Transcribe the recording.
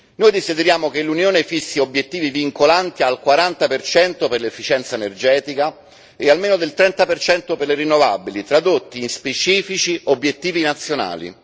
Noi desideriamo che l'Unione fissi obiettivi vincolanti al 40 per l'efficienza energetica e almeno al 30 per le rinnovabili, tradotti in specifici obiettivi nazionali.